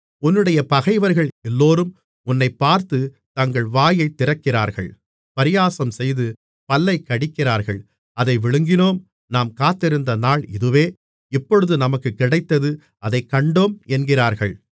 உன்னுடைய பகைவர்கள் எல்லோரும் உன்னைப்பார்த்துத் தங்கள் வாயைத் திறக்கிறார்கள் பரியாசம் செய்து பல்லைக் கடிக்கிறார்கள் அதை விழுங்கினோம் நாம் காத்திருந்த நாள் இதுவே இப்பொழுது நமக்குக் கிடைத்தது அதைக் கண்டோம் என்கிறார்கள்